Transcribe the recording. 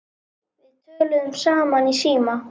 Við töluðum saman í síma.